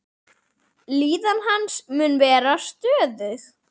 Líðan hans mun vera stöðug.